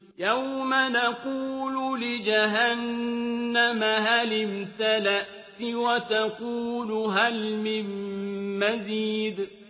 يَوْمَ نَقُولُ لِجَهَنَّمَ هَلِ امْتَلَأْتِ وَتَقُولُ هَلْ مِن مَّزِيدٍ